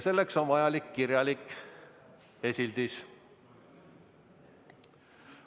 Selleks on vajalik kirjalik esildis.